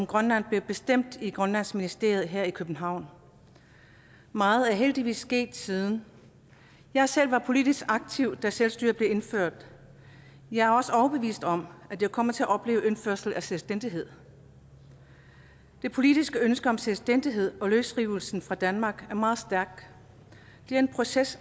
grønland blev bestemt i grønlandsministeriet her i københavn meget er heldigvis sket siden jeg selv var politisk aktiv da selvstyret blev indført jeg er også overbevist om at jeg kommer til at opleve indførelsen af selvstændighed det politiske ønske om selvstændighed og løsrivelsen fra danmark er meget stærkt det er en proces